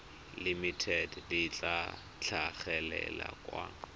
limited le tla tlhagelela kwa